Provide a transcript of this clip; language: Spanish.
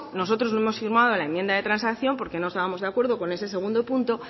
nosotros no hemos firmado la enmienda de transacción porque no estábamos de acuerdo con ese segundo punto